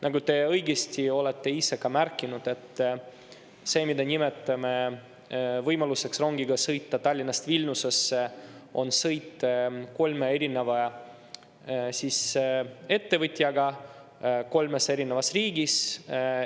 Nagu te õigesti olete ise ka märkinud, et see, mida me nimetame võimaluseks sõita rongiga Tallinnast Vilniusesse, on sõit kolme erineva ettevõtjaga kolmes erinevas riigis.